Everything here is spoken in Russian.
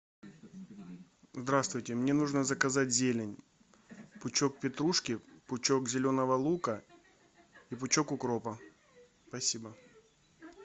здравствуйте мне нужно заказать зелень пучок петрушки пучок зеленого лука и пучок укропа спасибо